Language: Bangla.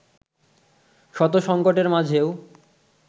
শত সংকটের মাঝেও